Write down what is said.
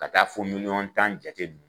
Ka taa fɔ milyɔn tan jate nunnu.